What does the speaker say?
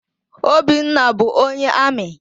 Obinna bụ onye amị.